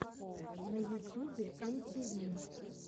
на ютюбе эм ти ви